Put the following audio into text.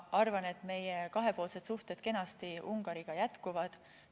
Ma arvan, et meie kahepoolsed suhted Ungariga jätkuvad kenasti.